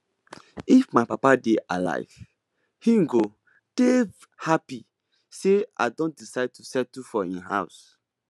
if my papa dey alive he go dey happy say i don decide to settle for im house